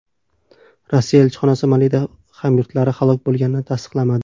Rossiya elchixonasi Malida hamyurtlari halok bo‘lganini tasdiqlamadi .